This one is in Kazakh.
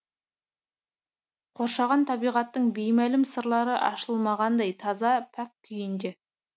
қоршаған табиғаттың беймәлім сырлары ашылмағандай таза пәк күйінде